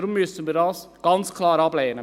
Deshalb müssen wir das ganz klar ablehnen.